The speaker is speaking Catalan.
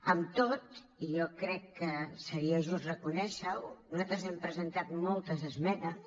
amb tot i jo crec que seria just reconèixer ho nosaltres hem presentat moltes esmenes